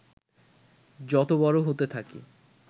যত বড় হতে থাকি